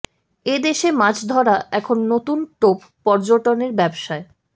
এ দেশে মাছ ধরা এখন নতুন টোপ পর্যটনের ব্যবসায়